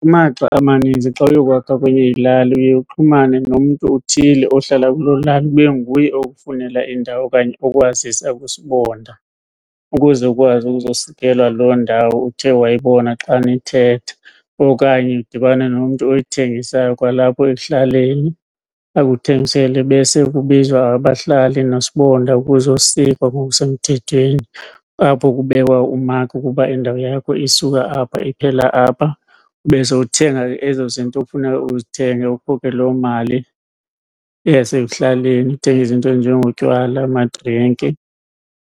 Kumaxa amaninzi xa uyokwakwa kwenye ilali uye uxhumane nomntu othile ohlala kuloo lali kube nguye okufunela indawo okanye okwazisa kuSibonda ukuze ukwazi ukuzosikelwa loo ndawo uthe wayibona xa nithetha. Okanye udibane nomntu oyithengisayo kwalapho ekuhlaleni akuthengisele, bese kubizwa abahlali noSibonda kuzosikwa ngokusemthethweni apho kubekwa umakhi ukuba indawo yakho isuka apha iphela apha. Ube sowuthenga ke ezo zinto kufuneka uzithenge ukhuphe loo mali yasekuhlaleni uthenge izinto ezinjengotywala, amadrinki